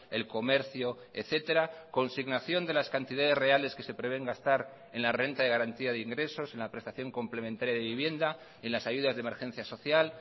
el comercio etcétera consignación de las cantidades reales que se prevén gastar en la renta de garantía de ingresos en la prestación complementaria de vivienda en las ayudas de emergencia social